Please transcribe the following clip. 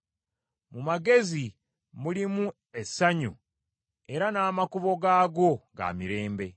Mu magezi mulimu essanyu, era n’amakubo gaago ga mirembe.